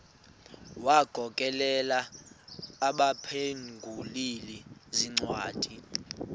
wagokelela abaphengululi zincwadi